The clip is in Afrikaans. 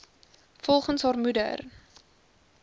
volgens haar moeder